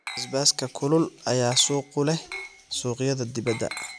Basbaaska kulul ayaa suuq ku leh suuqyada dibadda.